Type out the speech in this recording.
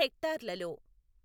హెక్టార్లలో.